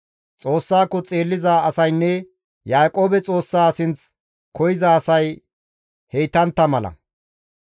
Xoossako xeelliza asaynne Yaaqoobe Xoossaa sinth koyza asay heytantta mala.